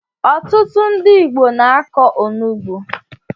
Ọtụtụ ndị Igbo na-akọ onugbu